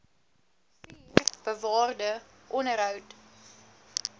vier bewaar onderhou